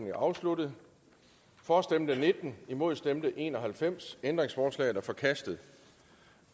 er afsluttet for stemte nitten imod stemte en og halvfems ændringsforslaget er forkastet